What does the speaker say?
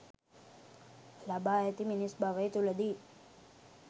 ලබා ඇති මිනිස් භවය තුළදී